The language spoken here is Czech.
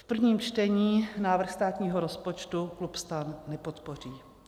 V prvním čtení návrh státního rozpočtu klub STAN nepodpoří.